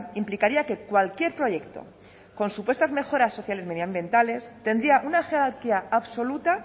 implicaría que cualquier proyecto con supuestas mejoras sociales medioambientales tendría una jerarquía absoluta